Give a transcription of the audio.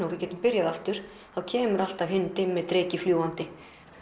og við getum byrjað aftur kemur alltaf hinn dimmi fljúgandi